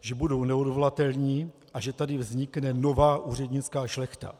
že budou neodvolatelní a že tady vznikne nová úřednická šlechta.